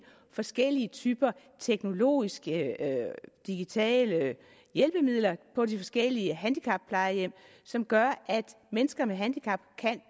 forskellige typer teknologiske digitale hjælpemidler på de forskellige handicapplejehjem som gør at mennesker med handicap kan